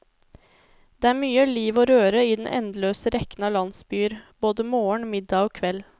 Det er mye liv og røre i den endeløse rekken av landsbyer, både morgen, middag og kveld.